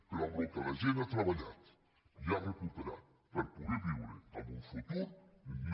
però amb el que la gent ha treballat i ha recuperat per poder viure en un futur no